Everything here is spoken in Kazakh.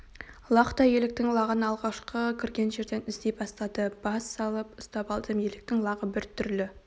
лақтай еліктің лағын алғашқы кірген жерден іздей бастады бас салып ұстап алдым еліктің лағы бір түрлі